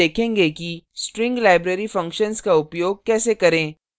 अब हम देखेंगे कि string library functions का उपयोग कैसे करें